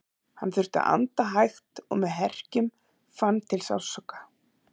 Hann þurfti að anda hægt og með herkjum, fann til sársauka.